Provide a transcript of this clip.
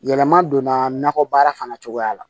Yɛlɛma donna nakɔbaara fana cogoya la